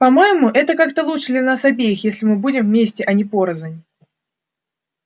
по-моему это как-то лучше для нас обеих если мы будем вместе а не порознь